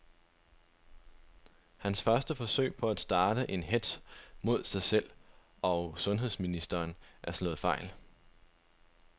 Hans første forsøg på at starte en hetz mod sig selv og sundheds ministeren er slået fejl.